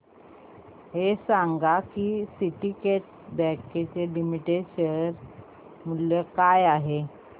हे सांगा की सिंडीकेट बँक लिमिटेड चे शेअर मूल्य काय आहे